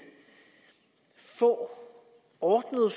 få ordnede